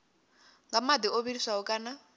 nga madi o vhiliswaho kana